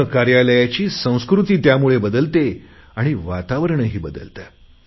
पूर्ण कार्यालयाची संस्कृती बदलते आणि वातावरणही बदलते